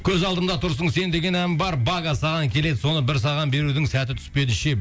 көз алдымда тұрсың сен деген ән бар бага саған келеді соны бір саған берудің сәті түспеді ше